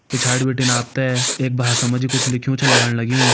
पिछाड़ी बिटिन आप त एक भाषा मा जी कुछ लिख्युं छ लगण लग्युं।